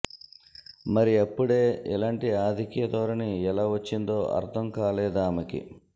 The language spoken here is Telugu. మరి అప్పుడే ఇలాంటి ఆధిక్య ధోరణి ఎలా వచ్చిందో అర్థం కాలేదామెకి